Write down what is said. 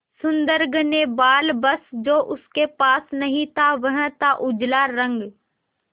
सुंदर घने बाल बस जो उसके पास नहीं था वह था उजला रंग